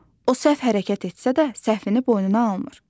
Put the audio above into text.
O səhv hərəkət etsə də, səhvini boynuna almır.